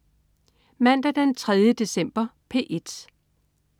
Mandag den 3. december - P1: